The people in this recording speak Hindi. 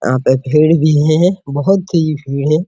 यहाँ पे भीड़ भी है बहुत ही भीड़ है।